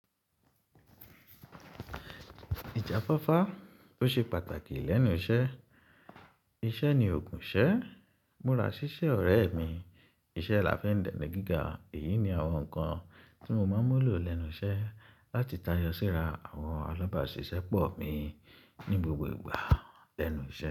Ìjàfáfá ó ṣe pàtàkì lẹ́nu iṣẹ́, iṣẹ́ ni òògùn iṣẹ́, múra ṣiṣẹ́ ọ̀rẹ́ mi, iṣẹ́ làfin dèni gíga. Èyí ni àwọn nǹkan tí mo máa ń mulò lẹ́nu iṣẹ́ láti tayọ síra àwọn alábàáṣiṣẹ́ pọ̀ mi ní gbogbo ìgbà lẹ́nu iṣẹ́.